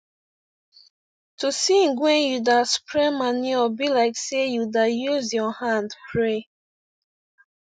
to sing when you da spread manure be like say u da use ur hand pray